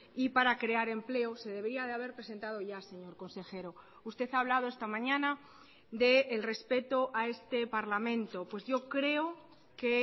y para crear empleo se debería de haber presentado ya señor consejero usted ha hablado esta mañana del respeto a este parlamento pues yo creo que